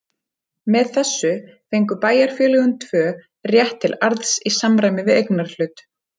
Með þessu fengu bæjarfélögin tvö rétt til arðs í samræmi við eignarhlut.